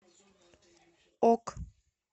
ок